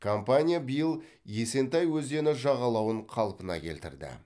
компания биыл есентай өзені жағалауын қалпына келтірді